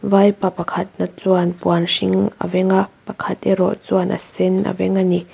vaipa pakhatna chuan puan hring a veng a pakhat erawh chuan a sen a veng a ni.